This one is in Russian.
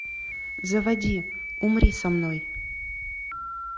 заводи умри со мной